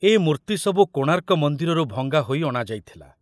ଏ ମୂର୍ତ୍ତି ସବୁ କୋଣାର୍କ ମନ୍ଦିରରୁ ଭଙ୍ଗା ହୋଇ ଅଣାଯାଇଥିଲା।